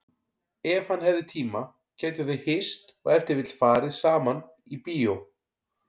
Ef hann hefði tíma gætu þau hist og ef til vill farið saman í bíó.